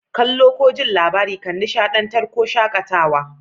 Kalla'n ko ji'n labari kan nishadantar ko shakatawa.